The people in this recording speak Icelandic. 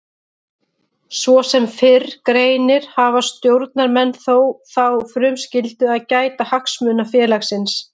Svo sem fyrr greinir hafa stjórnarmenn þó þá frumskyldu að gæta hagsmuna félagsins.